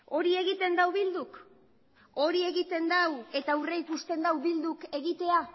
hori egiten du bilduk hori egiten du eta aurreikusten du bilduk egitea